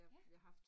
Ja